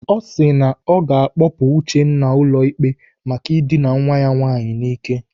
O si na ọ ga-akpọpụ Uchenna ụlọikpe maka idina nwa ya nwaanyị n'ike.